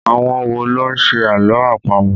Àwọn wo ló ń ṣe àlọ́ àpamọ̀?